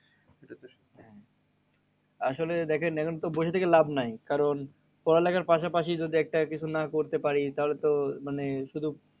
আসলে দেখেন এখন তো বসে থেকে লাভ নাই। কারণ পড়ালেখার পাশাপাশি যদি একটা কিছু না করতে পারি, তাহলে তো মানে শুধু